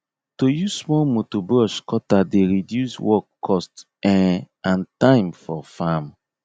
to use small motor brush cutter dey reduce work cost um and time for farm